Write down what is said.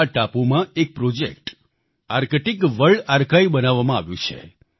આ ટાપુમાં એક પ્રોજેક્ટ આર્ક્ટિક વર્લ્ડ આર્કાઇવ બનાવવામાં આવ્યું છે